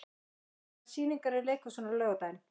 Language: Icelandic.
Barbara, hvaða sýningar eru í leikhúsinu á laugardaginn?